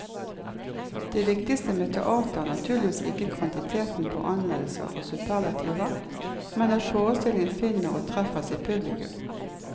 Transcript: Det viktigste med teater er naturligvis ikke kvantiteten på anmeldelser og superlativer, men at forestillingen finner og treffer sitt publikum.